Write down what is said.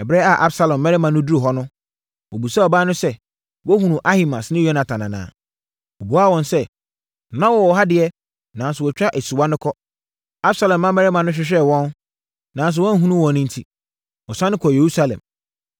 Ɛberɛ a Absalom mmarima no duruu hɔ no, wɔbisaa ɔbaa no sɛ, “Woahunu Ahimaas ne Yonatan anaa?” Ɔbuaa wɔn sɛ, “Na wɔwɔ ha deɛ, nanso wɔatwa asuwa no kɔ.” Absalom mmarima no hwehwɛɛ wɔn, nanso wɔanhunu wɔn enti, wɔsane kɔɔ Yerusalem.